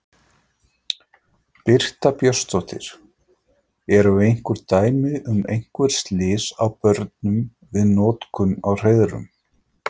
Birta Björnsdóttir: Eru einhver dæmi um einhver slys á börnum við notkun á hreiðrum?